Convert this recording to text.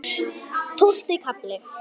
Tólfti kafli